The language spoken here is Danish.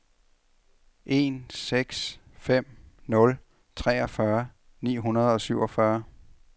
en seks fem nul treogfyrre ni hundrede og syvogfyrre